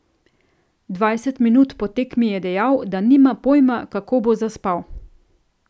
Dvajset minut po tekmi je dejal, da nima pojma, kako bo zaspal.